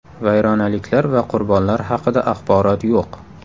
Vayronaliklar va qurbonlar haqida axborot yo‘q.